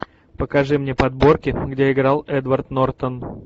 покажи мне подборки где играл эдвард нортон